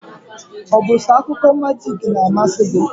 Ọ bụ so akụkọ majik n'amasi gị?